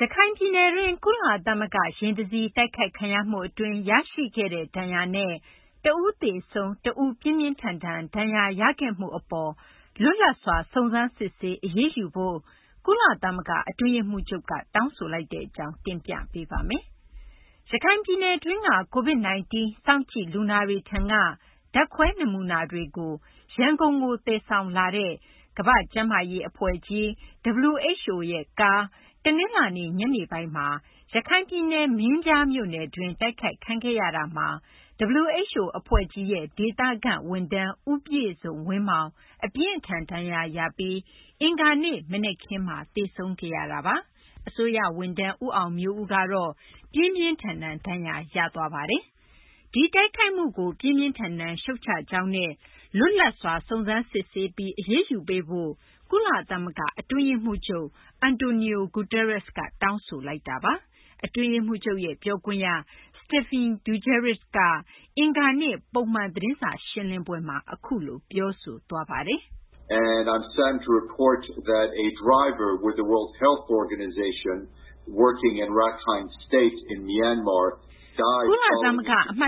ရခိုင်ပြည်နယ်တွင်း ကုလသမဂ္ဂ ယာဉ် တစီး တိုက်ခိုက်ခံရမှု အတွင်း ရရှိခဲ့တဲ့ ဒဏ်ရာနဲ့ တဦးသေဆုံး၊ တဦး ပြင်းပြင်းထန်ထန် ဒဏ်ရာရခဲ့မှု အပေါ်လွတ်လပ်စွာ စုံစမ်းစစ်ဆေး အရေးယူဖို့ ကုလသမဂ္ဂ အတွင်းရေးမှူးချုပ်က တောင်းဆိုလိုက်တဲ့ အကြောင်း မသိင်္ဂ ီထိုက်တင်ပြပေးပါမယ်။ ရခိုင်ပြည်နယ်တွင်းက COVID -19 စောင့်ကြည့်လူနာတွေထံက ဓာတ်ခွဲနမူနာတွေ သယ်ဆောင်လာတဲ့ ကမ္ဘာ့ကျန်းမာရေး အဖွဲ့ကြီး WHO ကား တနလာၤနေ့ ညနေပိုင်းက မင်းပြားမြို့နယ်တွင်း တိုက်ခိုက်ခံခဲ့ရတာမှာ WHO အဖွဲ့ကြီးရဲ့ ဒေသခန့် ဝန်ထမ်း ဦးပြည့်စုံဝင်းမောင် အပြင်းအထန် ဒဏ်ရာရပြီး အင်္ဂါနေ့ မနက်ခင်းမှာ သေဆုံးခဲ့ရပြီး အစိုးရ ဝန်ထမ်း ဦးအောင်မျိုးဦး ပြင်းပြင်းထန်ထန် ဒဏ်ရာရထားတာပါ။ ဒီလို တိုက်ခိုက်မှုကို ပြင်းပြင်းထန်ထန် ရှုတ်ချကြောင်းနဲ့ လွတ်လပ်စွာ စုံစမ်းစစ်ဆေးပြီး အရေးယူပေးဖို့ ကုလသမဂ္ဂ အတွင်းရေးမှူးချုပ် Antonio Guterres က တောင်းဆိုလိုက်တာပါ။ အတွင်းရေးမှူးချုပ်ရဲ့ ပြောခွင့်ရ Stephane Dujarric က အင်္ဂါနေ့ ပုံမှန် သတင်းစာ ရှင်းလင်းပွဲမှာ အခုလို ပြောဆိုသွားပါတယ်။ “ကုလသမဂ္ဂ အမှတ